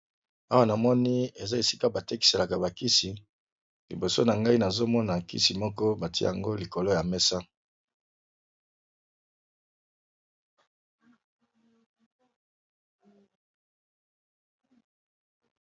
Awa na moni eza esika batekiselaka bakisi liboso na ngai nazomona bkisi moko batia yango likolo ya mesa.